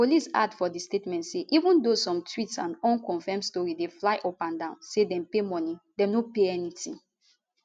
police add for di statement say even though some tweets and unconfirmed tori dey fly upandan say dem pay moni dem no pay anytin